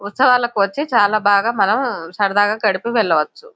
ఉత్సవాలకు వచ్చి చాలా బాగా మనం సరదాగా గడిపి వెళ్లవచ్చు.